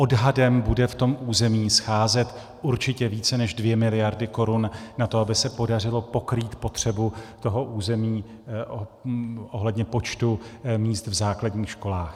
Odhadem bude v tom území scházet určitě více než dvě miliardy korun na to, aby se podařilo pokrýt potřebu toho území ohledně počtu míst v základních školách.